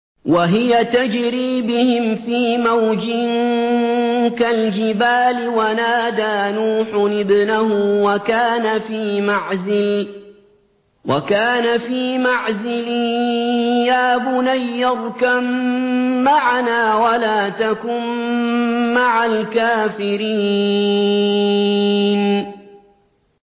وَهِيَ تَجْرِي بِهِمْ فِي مَوْجٍ كَالْجِبَالِ وَنَادَىٰ نُوحٌ ابْنَهُ وَكَانَ فِي مَعْزِلٍ يَا بُنَيَّ ارْكَب مَّعَنَا وَلَا تَكُن مَّعَ الْكَافِرِينَ